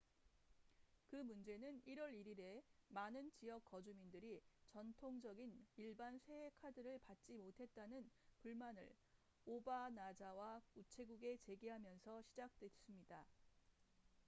그 문제는 1월 1일에 많은 지역 거주민들이 전통적인 일반 새해 카드를 받지 못했다는 불만을 오바나자와 우체국에 제기하면서 시작됐습니다